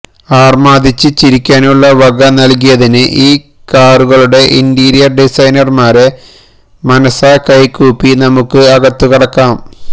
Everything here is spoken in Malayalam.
അര്മാദിച്ച് ചിരിക്കാനുള്ള വക നല്കിയതിന് ഈ കാറുകളുടെ ഇന്റീരിയര് ഡിസൈനര്മാരെ മനസാ കൈകൂപ്പി നമുക്ക് അകത്തുകടക്കാം